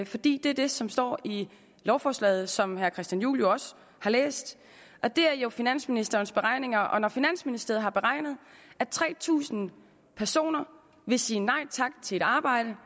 fordi det er det som står i lovforslaget som herre christian juhl jo også har læst det er jo finansministerens beregninger og når finansministeriet har beregnet at tre tusind personer vil sige nej tak til et arbejde